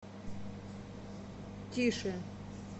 тише